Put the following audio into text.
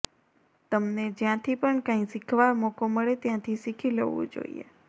તમને જ્યાંથી પણ કાંઇ સીખવા મોકો મળે ત્યાંથી સીખી લેવું જોઇએ